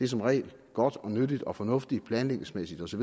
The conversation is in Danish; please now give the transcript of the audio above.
som regel godt nyttigt og fornuftigt i planlægningsmæssig